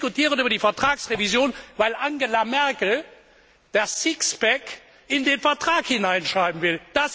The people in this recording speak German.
Wir diskutieren über die Vertragsrevision, weil Angela Merkel das Sixpack in den Vertrag hineinschreiben will.